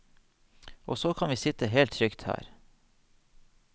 Og så kan vi sitte helt trygt her.